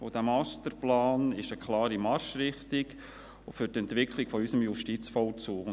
Dieser Masterplan gibt eine klare Marschrichtung für die Entwicklung unseres Justizvollzugs vor.